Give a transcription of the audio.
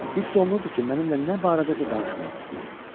Hiss olunurdu ki, mənimlə nə barədəsə danışmaq istəyir.